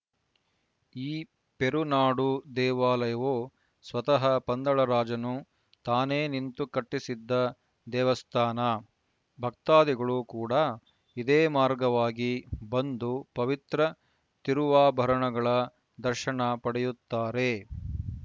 ಈ ಪೆರುನಾಡು ದೇವಾಲಯವು ಸ್ವತಃ ಪಂದಳ ರಾಜನು ತಾನೇ ನಿಂತು ಕಟ್ಟಿಸಿದ್ದ ದೇವಸ್ಥಾನ ಭಕ್ತಾದಿಗಳೂ ಕೂಡ ಇದೇ ಮಾರ್ಗವಾಗಿ ಬಂದು ಪವಿತ್ರ ತಿರುವಾಭರಣಗಳ ದರ್ಶನ ಪಡೆಯುತ್ತಾರೆ